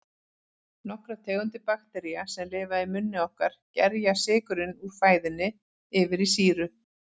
Nokkrar tegundir baktería, sem lifa í munni okkar, gerja sykurinn úr fæðunni yfir í sýru.